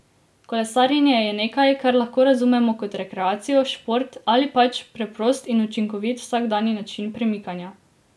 Kolesarjenje je nekaj, kar lahko razumemo kot rekreacijo, šport ali pač preprost in učinkovit vsakdanji način premikanja.